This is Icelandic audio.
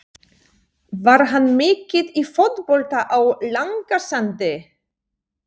Var hann mikið í fótbolta á Langasandi?